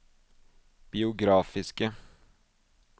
biografiske